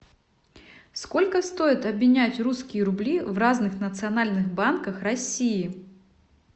сколько стоит обменять русские рубли в разных национальных банках россии